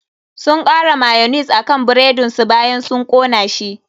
Sun kara mayonnaise akan buredin su bayan sun kona shi.